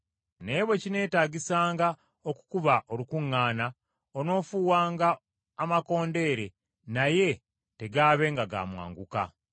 Naye bwe kineetaagisanga okukuba olukuŋŋaana, onoofuuwanga amakondeere naye tegaabenga ga mwanguka.